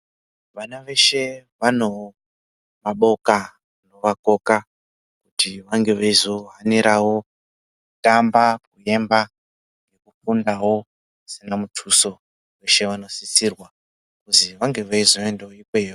Vana veshe vano maboka anovakoka ekuti vange veizohaniravo kutamba, kuyemba ,kufunda pasina muthuso veshe vanosisirwa kuzi vange veizoendavo ikweyo.